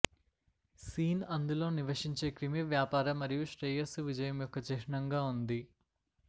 scene అందులో నివశించే క్రిమి వ్యాపార మరియు శ్రేయస్సు విజయం యొక్క చిహ్నంగా ఉంది